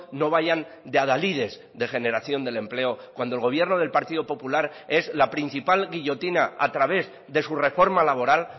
no vayan de adalides de generación del empleo cuando el gobierno del partido popular es la principal guillotina a través de su reforma laboral